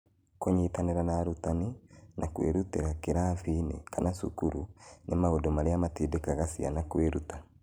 Kũnyitanĩra na arutani, na kwĩrutĩra kĩrathi-inĩ kana cukuru, nĩ maũndũ marĩa matindĩkaga ciana kwĩruta.